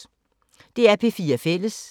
DR P4 Fælles